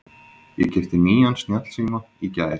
Ég keypti nýjan snjallsíma í gær.